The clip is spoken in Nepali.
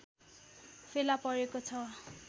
फेला परेको छ